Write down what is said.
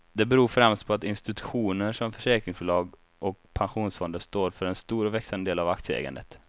Det beror främst på att institutioner som försäkringsbolag och pensionsfonder står för en stor och växande del av aktieägandet.